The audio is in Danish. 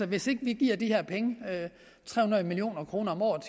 hvis ikke vi giver de her penge tre hundrede million kroner om året